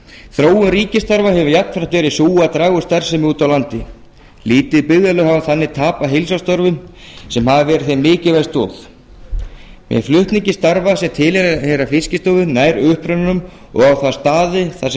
þróun ríkisstarfa hefur jafnframt verið sú að draga úr starfsemi úti á landi lítil byggðarlög hafa þannig tapað heilsársstörfum sem hafa verið þeim mikilvæg stoð með flutningi starfa sem tilheyra fiskistofu nær upprunanum og á þá staði þar sem